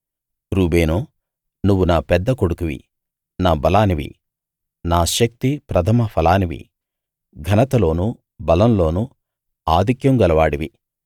Reuben నువ్వు నా పెద్ద కొడుకువి నా బలానివి నా శక్తి ప్రథమ ఫలానివి ఘనతలోనూ బలంలోనూ ఆధిక్యం గలవాడివి